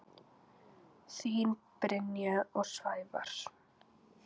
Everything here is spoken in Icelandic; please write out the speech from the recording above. Þín Brynja og Sævar.